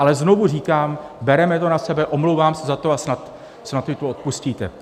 Ale znovu říkám, bereme to na sebe, omlouvám se za to a snad mi to odpustíte.